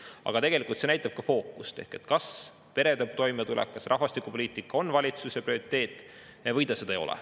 Aga tegelikult see näitaks fookust: kas perede toimetulek, kas rahvastikupoliitika on valitsuse prioriteet või ta seda ei ole.